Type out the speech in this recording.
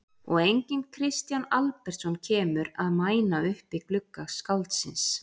Og enginn Kristján Albertsson kemur að mæna upp í glugga skáldsins.